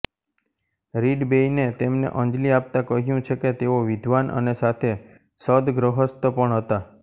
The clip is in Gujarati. રીડ બેઈને તેમને અંજલી આપતા કહ્યું છે કે તેઓ વિદ્વાન અને સાથે સદગૃહસ્થ પણ હતા